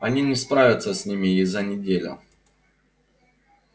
они не справятся с ними и за неделю